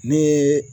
Ne ye